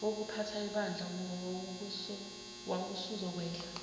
wokuphatha ibandla wawusuzokwehla